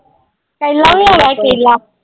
ਕੇਲਾ ਵੀ ਹੈਗਾ ਕੇਲਾ।